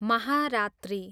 महारात्री